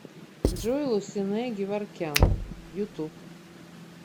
джой лусинэ геворкян ютуб